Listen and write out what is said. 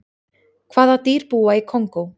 hvaða dýr búa í kongó